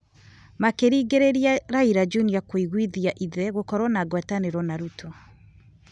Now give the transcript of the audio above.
Makĩringĩrĩria Raila Junior kũiguithia ithe gũkorwo na ngwatanĩro na Ruto,